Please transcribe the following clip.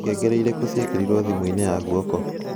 ngengere iriku ciekerĩrwo thimu ini ya guoko